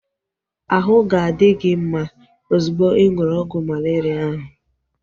Ahụ ga-adi gị mma ozugbo ị ṅụrụ ọgwụ malaria ahu